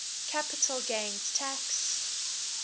capital gains tax